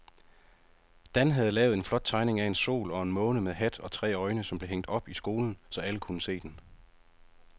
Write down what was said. Dan havde lavet en flot tegning af en sol og en måne med hat og tre øjne, som blev hængt op i skolen, så alle kunne se den.